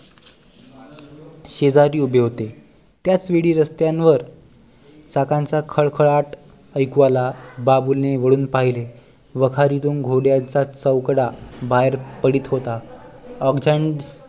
शेजारी उभे होते त्याच वेळी रस्त्यांवर टाचांचा खडखडात ऐकू आला बाबूलने वळून पहिले वाखारीतून घोड्यांचा चौकडा बाहेर पडत होता ऑकझेंडण